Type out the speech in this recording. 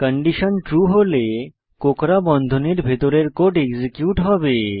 condition true হলে কোঁকড়া বন্ধনীর ভিতরের কোড এক্সিকিউট হবে